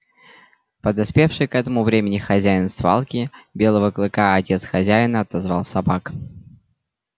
подоспевший к этому времени хозяин свалки белого клыка а отец хозяина отозвал собак